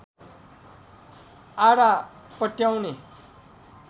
आधा पट्याउने